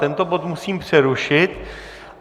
Tento bod musím přerušit.